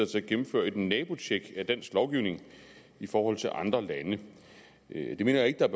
til at gennemføre et nabotjek af dansk lovgivning i forhold til andre lande det mener jeg ikke der